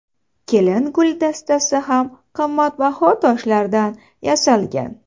Kelin gul dastasi ham qimmatbaho toshlardan yasalgan.